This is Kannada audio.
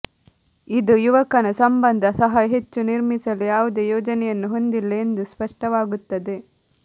ಇದು ಯುವಕನ ಸಂಬಂಧ ಸಹ ಹೆಚ್ಚು ನಿರ್ಮಿಸಲು ಯಾವುದೇ ಯೋಜನೆಯನ್ನು ಹೊಂದಿಲ್ಲ ಎಂದು ಸ್ಪಷ್ಟವಾಗುತ್ತದೆ